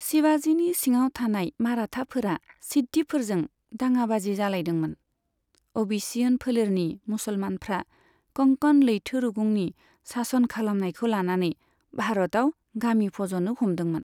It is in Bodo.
शिवाजीनि सिङाव थानाय माराठाफोरा सिद्दिफोरजों दाङाबाजि जालायदोंमोन, अबिसिनियन फोलेरनि मुसलमानफ्रा कंकण लैथो रुगुंनि सासन खालामनायखौ लानानै भारतआव गामि फजनो हमदोंमोन।